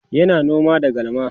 yana noma da galma